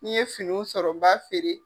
N'i ye finiw sɔrɔ n b'a feere.